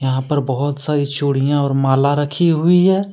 यहाँ पर बहुत सारी चूड़ियां और माला रखी हुई है।